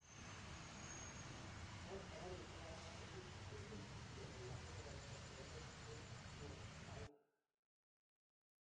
Eng sabarisyek ang'wan ko kiterteris Kipchoge lakini kokonge't let eng hatua aeng